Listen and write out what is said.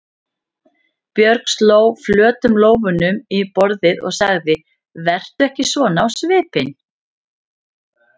Björg sló flötum lófunum í borðið og sagði: Vertu ekki svona á svipinn.